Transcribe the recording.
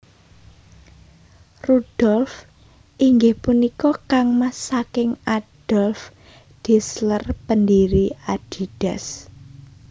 Rudolf inggih punika kangmas saking Adolf Dassler pendiri Adidas